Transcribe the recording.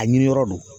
A ɲiniyɔrɔ do